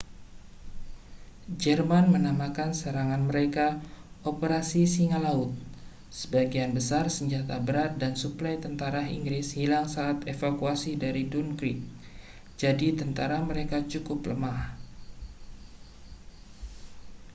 "jerman menamakan serangan mereka operasi singa laut". sebagian besar senjata berat dan suplai tentara inggris hilang saat evakuasi dari dunkirk jadi tentara mereka cukup lemah.